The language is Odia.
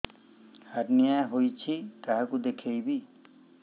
ହାର୍ନିଆ ହୋଇଛି କାହାକୁ ଦେଖେଇବି